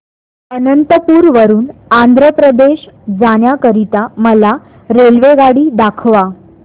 अनंतपुर वरून आंध्र प्रदेश जाण्या करीता मला रेल्वेगाडी दाखवा